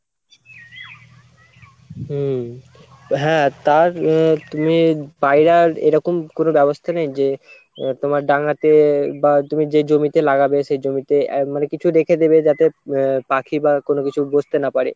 হম হ্যাঁ তার আহ তুমি পায়রার এরকম কোনো ব্যবস্থা নেই যে আহ তোমার ডাঙাতে বা তুমি যেই জমিতে লাগবে সেই জমিতে আহ মানে কিছু রেখে দেবে যাতে আহ পাখি বা কোনো কিছু বসতে না পারে।